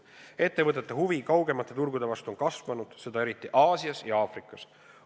Ettevõtete huvi kaugemate turgude vastu on kasvanud, seda eriti Aasias ja Aafrikas.